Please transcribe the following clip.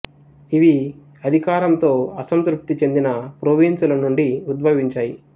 ఇవి కేంద్ర అధికారంతో అసంతృప్తి చెందిన ప్రోవిన్సుల నుండి ఉద్భవించాయి